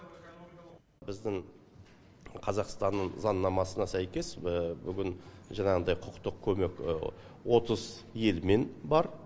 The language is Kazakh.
біздің қазақстанның заңнамасына сәйкес бүгін жаңағындай құқықтық көмек отыз елмен бар